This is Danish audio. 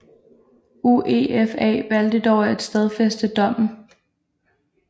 UEFA valgte dog at stadfæste dommen